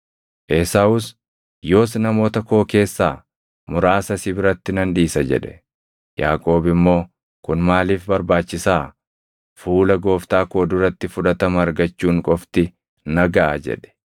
Esaawus, “Yoos namoota koo keessaa muraasa si biratti nan dhiisa” jedhe. Yaaqoob immoo, “Kun maaliif barbaachisaa? Fuula gooftaa koo duratti fudhatama argachuun qofti na gaʼa” jedhe.